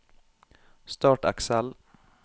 Start Excel